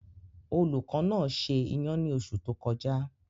Olùkọ́ náà se iyan ní oṣù tó kọjá.